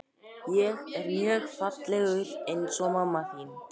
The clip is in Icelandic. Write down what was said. Því þurfum við að glöggva okkur á því hvað orðið þetta bendir á í setningunni.